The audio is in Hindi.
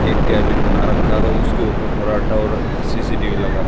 एक केबिन बना रखा हो उसके ऊपर फराटा और सी_सी_टी_वी लगा--